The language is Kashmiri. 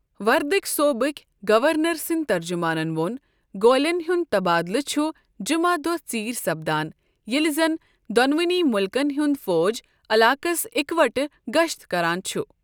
وردک صۄٗبٕكۍ گورنر سٕندۍ ترجمانن ووٚن گولین ہند تبادلہٕ چھ جمعہ دۄہ ژیرۍ سپدان ییلہِ زن دونونی ملكن ہنٛد فوج علاقس اِكوٹہٕ گشت كران چھِ۔